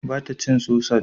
Ba ta cin sosaj?